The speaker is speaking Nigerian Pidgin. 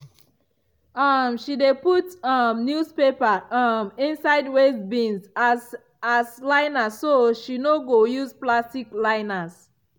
um she dey put um newspaper um inside waste bins as as liner so she no go use plastic liners.